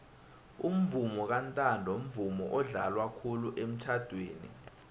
umvomo kantanto mvumo odlalwa khulu emitjhadweni